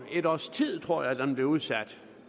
et års tid tror jeg den er blevet udsat